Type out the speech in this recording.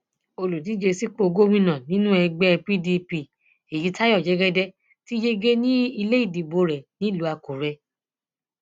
olùdíje sípò gómìnà nínú ẹgbẹ pdp èyítayọ jẹgẹdẹ ti yege ní ilé ìdìbò rẹ nílùú àkúrẹ